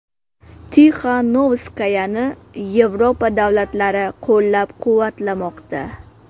Tixanovskayani Yevropa davlatlari qo‘llab-quvvatlamoqda.